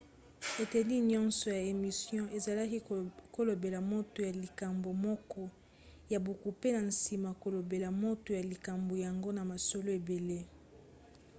eteni nyonso ya émission ezalaki kolobela moto ya likambo moko ya buku pe na nsima kolobela moto ya likambo yango na masolo ebele